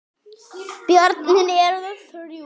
Börnin eru þrjú.